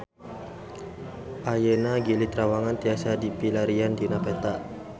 Ayeuna Gili Trawangan tiasa dipilarian dina peta